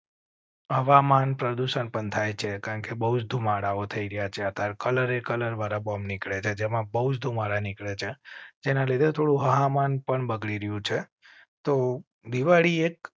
હવામાન પ્રદુષણ પણ થાય છે કારણ કે બહુ ધુમાડાઓ થઈ રહ્યા છે ત્યારે કલર કલર વાળા બોમ નીકળે છે. જેમાં બહુ ધુમાડા નીકળે છે તેના લીધે થોડું હવામાન પણ બગડી રહ્યું છે તો દિવાળી એક